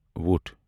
وۄٹھ